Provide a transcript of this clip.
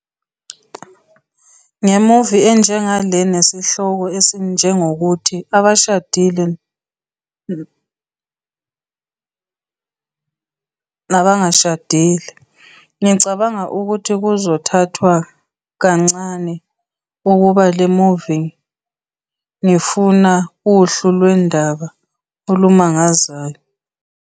, nge-movie enjengale nesihloko esinjengokuthi "Abangashadile nabashadile", ngicabanga ukuthi kuzothathwa kancane ukubuka le movie ngifuna uhlu lwendaba olumangazayo.